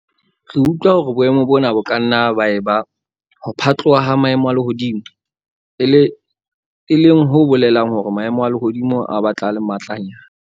Re utlwa hore boemo bona bo ka nna ba eba 'ho phatloha ha maemo a lehodimo', e leng ho bolelang hore maemo a lehodimo a batla a le matlanyana.